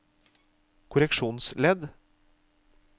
korreksjonsledd